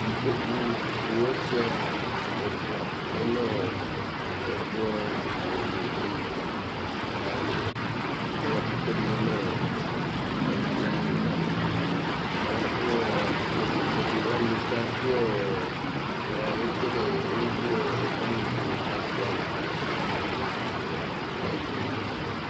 Ikpoku mʋ ɔsʋia ɛfʋa lɛ nʋ ɛkplɔ di ayʋ ɛtu kʋ ɛkʋɛdi yanʋ ɛkplɔɛ ava kʋ itsɛdi tsɛdi wani ekele ewʋ ɛkʋ wani tu kʋ abʋɛ amu kʋ ɛdiní ye abʋɛ gbɛ